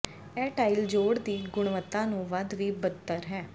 ਇਹ ਟਾਇਲ ਜੋਡ਼ ਦੀ ਗੁਣਵੱਤਾ ਨੂੰ ਵੱਧ ਵੀ ਬਦਤਰ ਹੈ